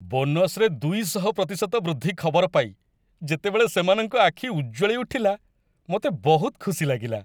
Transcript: ବୋନସରେ ୨୦୦% ବୃଦ୍ଧି ଖବର ପାଇ ଯେତେବେଳେ ସେମାନଙ୍କ ଆଖି ଉଜ୍ଜ୍ୱଳି ଉଠିଲା, ମୋତେ ବହୁତ ଖୁସି ଲାଗିଲା।